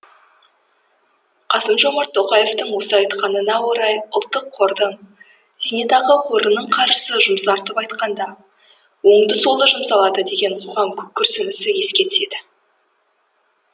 қасым жомарт тоқаевтың осы айтқанына орай ұлттық қордың зейнетақы қорының қаржысы жұмсартып айтқанда оңды солды жұмсалады деген қоғам күрсінісі еске түседі